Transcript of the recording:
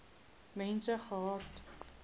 mense gehad